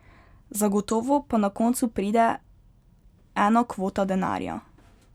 Zagotovo pa na koncu pride ena kvota denarja.